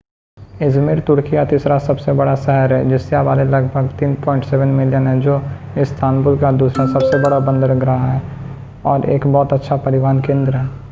Izmir तुर्की का तीसरा सबसे बड़ा शहर है जिसकी आबादी लगभग 3.7 मिलियन है जो इस्तांबुल के बाद दूसरा सबसे बड़ा बंदरगाह है और एक बहुत अच्छा परिवहन केंद्र है